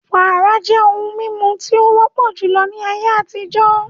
Wàrà jẹ́ ohun mímu tí o wọ́pọ̀ júlọ ní ayé àtijó